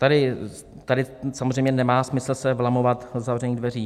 Tady samozřejmě nemá smysl se vlamovat do zavřených dveří.